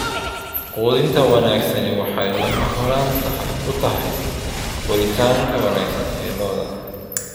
Quudinta wanaagsani waxay lama huraan u tahay koritaanka wanaagsan ee lo'da.